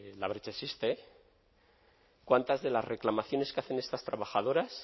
labrechaexiste cuántas de las reclamaciones que hacen estas trabajadoras